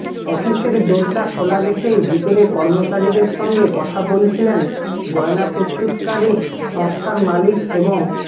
অফিসের দরজা খোলা রেখেই ভিতরে কর্মচারীদের সঙ্গে কথা বলছিলেন গয়না প্রস্তুতকারী সংস্থার মালিক এবং